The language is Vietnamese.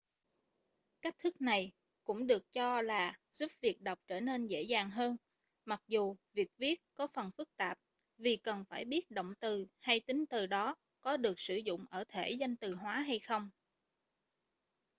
cách thức này cũng được cho là giúp việc đọc trở nên dễ dàng hơn mặc dù việc viết có phần phức tạp vì cần phải biết động từ hay tính từ đó có được sử dụng ở thể danh từ hóa hay không